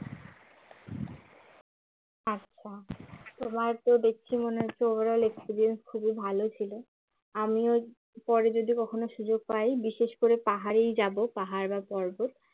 আচ্ছা তোমার তো দেখছি মনে হচ্ছে ওভারঅল এক্সপেরিয়েন্স খুবই ভালো ছিল আমিও পরে যদি কখনো সুযোগ পাই বিশেষ করে পাহাড়েই যাব পাহাড় বা পর্বত